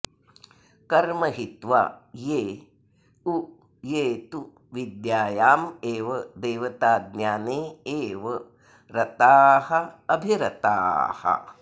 कर्म हित्वा ये उ ये तु विद्यायामेव देवताज्ञाने एव रताः अभिरताः